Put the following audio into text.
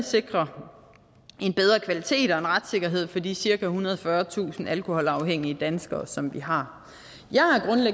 sikre en bedre kvalitet og retssikkerhed for de cirka ethundrede og fyrretusind alkoholafhængige danskere som vi har